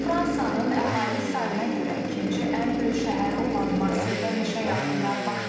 Fransanın əhali sayına görə ikinci ən böyük şəhəri olan Marseldə meşə yanğınları başlayıb.